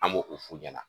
An b'o o f'u ɲɛna